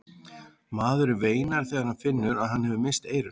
Maðurinn veinar þegar hann finnur að hann hefur misst eyrun.